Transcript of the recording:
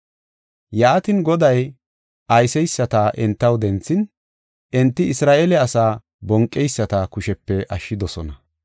Yaatin, Goday ayseysata entaw denthin, enti Isra7eele asaa bonqeyisata kushepe ashshidosona.